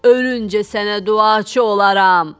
Ölüncə sənə duaçı olaram.